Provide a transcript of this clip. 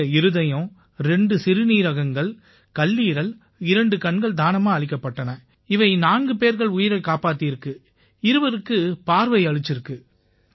இவங்க இருதயம் இரண்டு சிறுநீரகங்கள் கல்லீரல் இரண்டு கண்கள் தானமா அளிக்கப்பட்டன இவை நான்கு பேர்கள் உயிரைக் காப்பாத்தியிருக்கு இருவருக்குப் பார்வையளிச்சிருக்கு